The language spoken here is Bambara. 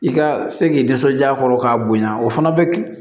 I ka se k'i nisɔndiya a kɔrɔ k'a bonya o fana bɛ